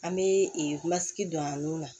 An bɛ ee kulsigi don a n'o la